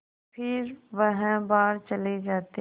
फिर वह बाहर चले जाते